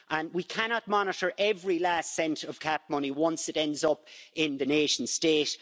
We cannot monitor every last cent of CAP money once it ends up in the nation state.